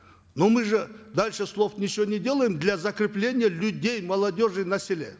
но мы же дальше слов ничего не делаем для закрепления людей молодежи на селе